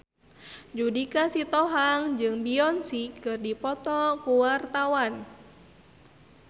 Judika Sitohang jeung Beyonce keur dipoto ku wartawan